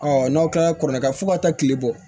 n'aw kilara kɔrɔkɛ fo ka taa kile bɔ